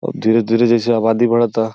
अब धीरे धीरे जैसे आबादी बढ़ता।